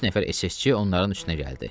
Üç nəfər SS-çi onların üstünə gəldi.